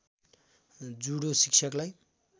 judo शिक्षकलाई